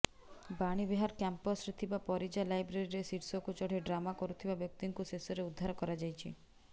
ବାଣୀବିହାର କ୍ୟାମ୍ପସରେ ଥିବା ପରିଜା ଲାଇବ୍ରେରୀର ଶୀର୍ଷକୁ ଚଢ଼ି ଡ୍ରାମା କରୁଥିବା ବ୍ୟକ୍ତିଙ୍କୁ ଶେଷରେ ଉଦ୍ଧାର କରାଯାଇଛି